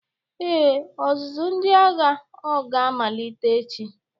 Ee, ọzụzụ ndị agha oga-amalite echi.